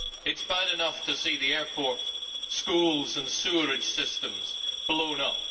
It is bad enough to see the airport, schools and sewerage systems blown up